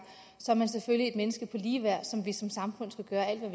så er man selvfølgelig et menneske med lige værd som vi som samfund skal